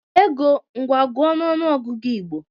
Ego, ngwa gụọ n'ọnụ ọgụgụ Igbo!